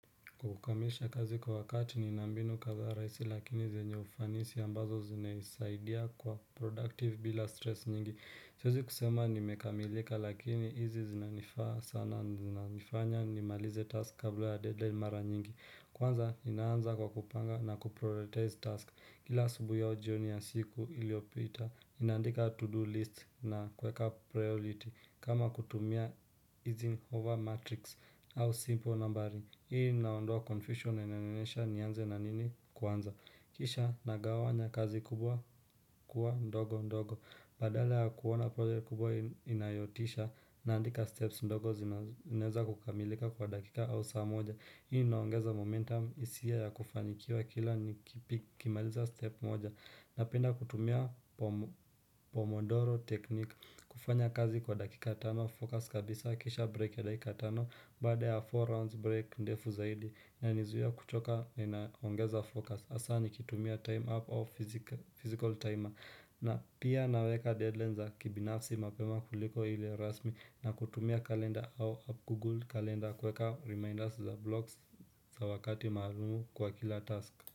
Kukamilisha kazi kwa wakati ni nana binu kadhaa rahisi lakini zenye ufanisi ambazo zimenisaidia kwa productive bila stress nyingi Siwezi kusema nimekamilika lakini hizi zinanifaa sana zinanifanya ni malize task kabla ya deadline mara nyingi Kwanza inaanza kwa kupanga na kuprioritize task kila asubuhi au jioni ya siku iliopita ninandika to do list na kuweka priority kama kutumia easing over matrix au simple namberi Hii inaondoa confusion na inanionyesha nianze na nini kwanza Kisha nagawanya kazi kubwa kuwa ndogo ndogo Badala ya kuona project kubwa inayotisha naandika steps ndogo zinaweza kukamilika kwa dakika au saa moja Hii inaongeza momentum isiyo ya kufanikiwa kila ni kimaliza step moja Napenda kutumia pomodoro technique kufanya kazi kwa dakika tano, focus kabisa, kisha break ya dakika tano, baada ya four rounds break ndefu zaidi inanizuia kuchoka na inaongeza focus, hasa nikitumia time up au physical timer na pia naweka deadline za kibinafsi mapema kuliko hile rasmi na kutumia kalenda au up google kalenda kuweka reminders za blogs za wakati mahalumu kwa kila task.